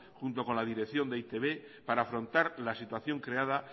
junto con la dirección de e i te be para afrontar la situación creada